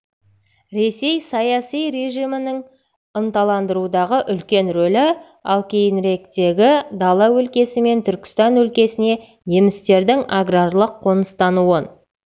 ресей саяси режимінің ынталандырудағы үлкен рөлі ал кейініректегі дала өлкесі мен түркістан өлкесіне немістердің аграрлық қоныстануын